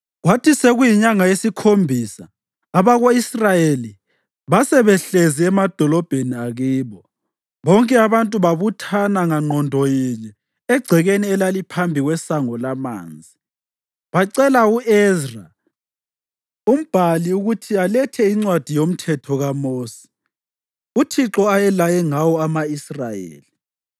Kwathi sekuyinyanga yesikhombisa abako-Israyeli basebehlezi emadolobheni akibo. Bonke abantu babuthana ngangqondo yinye egcekeni elaliphambi kweSango laManzi. Bacela u-Ezra umbhali ukuthi alethe iNcwadi yoMthetho kaMosi, uThixo ayelaye ngawo ama-Israyeli.